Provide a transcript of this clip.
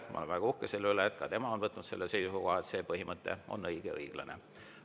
Ma olen väga uhke selle üle, et ka tema on võtnud selle seisukoha, et see põhimõte on õige ja õiglane.